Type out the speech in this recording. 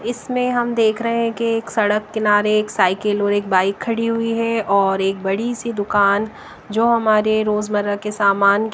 इसमें हम देख रहे हैं कि एक सड़क किनारे एक साइकिल और एक बाइक खड़ी हुई है और एक बड़ी सी दुकान जो हमारे रोजमर्रा के सामान--